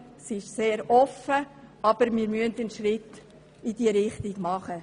Die Formulierung ist sehr offen, aber wir müssen einen Schritt in diese Richtung machen.